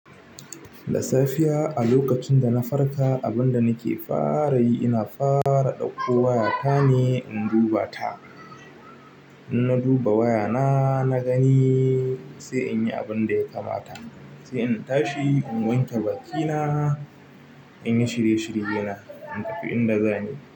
Da safiya a lokacin da na farka, abin da nake fara yi ina fara ɗauko waya ta ne in duba ta. In na duba waya na, na gani sai in yi abin da ya kamata. Sai in tashi in wanke bakina, in yi shirye shirye na, in tafi inda zanyi.